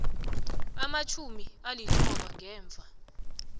amatjhumi alithoba ngemva